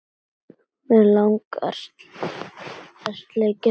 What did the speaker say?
Mig langar að sleikja þig.